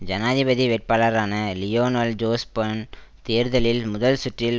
ஜனாதிபதி வேட்பாளரான Lionel Jospin தேர்தலில் முதல் சுற்றில்